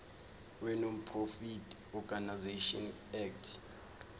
wenonprofit organisations act